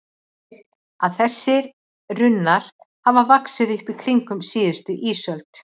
Þetta þýðir að þessir runnar hafa vaxið upp í kringum síðustu ísöld.